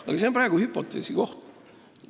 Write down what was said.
Aga see on hüpoteesi koht.